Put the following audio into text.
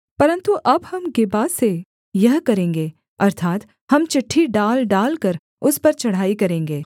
परन्तु अब हम गिबा से यह करेंगे अर्थात् हम चिट्ठी डाल डालकर उस पर चढ़ाई करेंगे